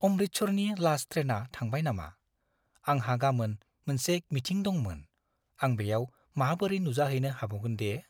अमृतसरनि last ट्रेना थांबाय नामा? आंहा गामोन मोनसे मिटिं दंमोन। आं बेयाव माबोरै नुजाहैनो हाबावगोन दे?